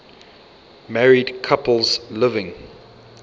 married couples living